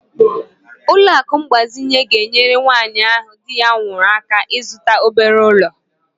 Ụlọ akụ mgbazinye ga-enyere nwanyị ahụ di ya nwụrụ aka ịzụta obere ụlọ.